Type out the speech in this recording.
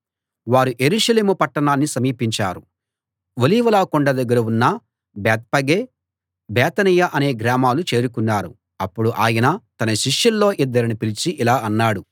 వారు యెరూషలేము పట్టణాన్ని సమీపించారు ఒలీవల కొండ దగ్గర ఉన్న బేత్పగే బేతనియ అనే గ్రామాలు చేరుకున్నారు అప్పుడు ఆయన తన శిష్యుల్లో ఇద్దరిని పిలిచి ఇలా అన్నాడు